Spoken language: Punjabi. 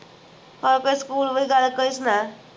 ਹੋਰ ਕੋਈ school ਬਾਰੇ ਗੱਲ ਕੋਈ ਸੁਣਾ